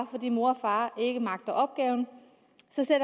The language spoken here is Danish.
fordi mor og far ikke magter opgaven